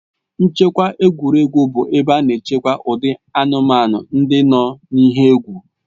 Nchekwa egwuregwu bụ ebe a na-echekwa ụdị anụmanụ ndị nọ n'ihe egwu